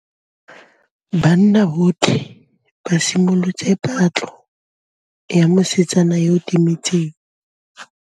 Banna botlhê ba simolotse patlô ya mosetsana yo o timetseng.